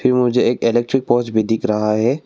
मुझे एक electric pole भी दिख रहा है।